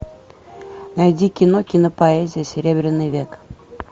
найди кино кинопоэзия серебряный век